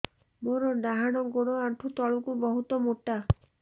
ମୋର ଡାହାଣ ଗୋଡ ଆଣ୍ଠୁ ତଳୁକୁ ବହୁତ ମୋଟା